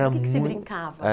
Era mui. Que que se brincava?